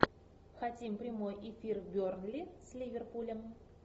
хотим прямой эфир бернли с ливерпулем